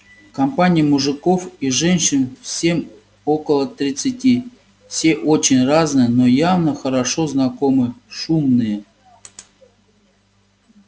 компания мужиков и женщин всем около тридцати все очень разные но явно хорошо знакомы шумные